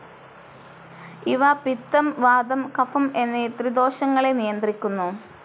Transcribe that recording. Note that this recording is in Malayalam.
ഇവ പിത്തം, വാതം, കഫം എന്നീ ത്രിദോഷങ്ങളെ നിയന്ത്രിക്കുന്നു.